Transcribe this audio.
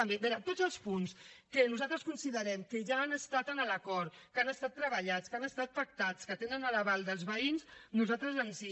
a veure tots els punts que nosaltres considerem que ja han estat en l’acord que han estat treballats que han estat pactats que tenen l’aval dels veïns nosaltres ens hi